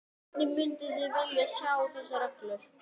Ekki bað ég um að vera réttarvitni.